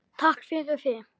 Takk fyrir þig.